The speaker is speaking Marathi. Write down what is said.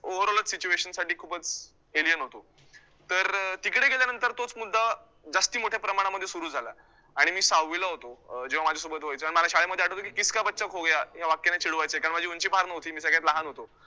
overall ch situation साठी खूपच alien होतो, तर अं तिकडे गेल्यानंतर तोच मुद्दा जास्ती मोठ्या प्रमाणामध्ये सुरू झाला आणि मी सहाविला होतो, अं जेव्हा माझ्यासोबत व्हायचं, आणि मला शाळेमध्ये आठवायचं, 'किसका बच्चा खो गया' या वाक्याने चिडवायचे, कारण माझी ऊंची फार नव्हती, मी सगळ्यात लहान होतो.